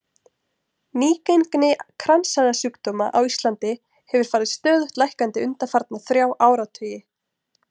Nýgengi kransæðasjúkdóma á Íslandi hefur farið stöðugt lækkandi undanfarna þrjá áratugi.